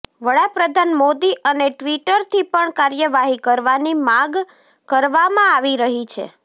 વડા પ્રધાન મોદી અને ટ્વિટરથી પણ કાર્યવાહી કરવાની માગ કરવામાં આવી રહી છે